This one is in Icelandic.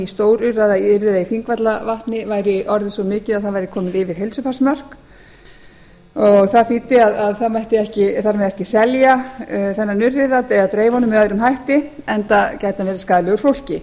stórurriða í þingvallavatni væri svo mikið að það væri komið yfir heilsufarsmörk og það þýddi að það mætti ekki selja þennan urriða eða dreifa honum með öðrum hætti enda gæti hann verið skaðlegur fólki